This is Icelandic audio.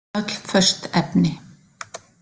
Öll föst efni.